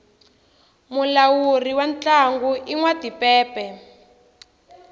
mulawuri wa ntlangu i nwa timpepe